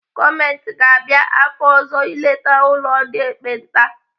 Gọọmenti ga-abịa afọ ọzọ ileta ụlọ ndị ekpenta.